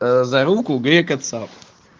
за руку грека цап